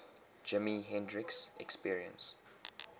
jimi hendrix experience